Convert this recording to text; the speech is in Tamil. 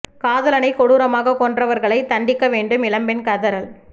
காதலனை கொடுரமாக கொன்றவர்களை தண்டிக்க வேண்டும் இளம்பெண் கதறல்